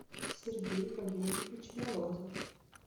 сергей валерьевич морозов